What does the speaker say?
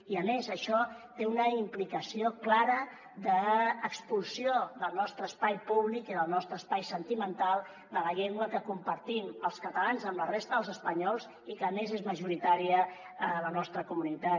i a més això té una implicació clara d’expulsió del nostre espai públic i del nostre espai sentimental de la llengua que compartim els catalans amb la resta dels espanyols i que a més és majoritària a la nostra comunitat